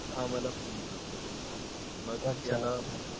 आम्हला प्रेम झाले मग त्यानं